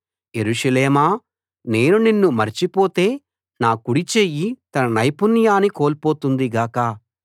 యెరూషలేమా నేను నిన్ను మరచిపోతే నా కుడి చెయ్యి తన నైపుణ్యాన్ని కోల్పోతుంది గాక